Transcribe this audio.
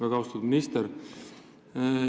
Väga austatud minister!